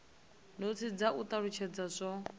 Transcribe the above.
notsi dza u talutshedza zwo